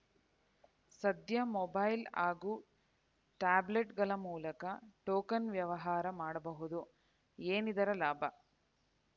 ಸದ್ಯ ಮೊಬೈಲ್‌ ಹಾಗೂ ಟ್ಯಾಬ್ಲೆಟ್‌ಗಳ ಮೂಲಕ ಟೋಕನ್‌ ವ್ಯವಹಾರ ಮಾಡಬಹುದು ಏನಿದರ ಲಾಭ